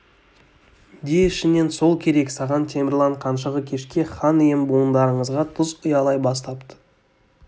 де ішінен сол керек саған темірлан қаншығы кешке хан ием буындарыңызға тұз ұялай бастапты